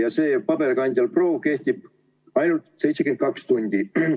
Ja see paberkandjal proov kehtib ainult 72 tundi.